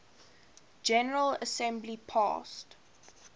general assembly passed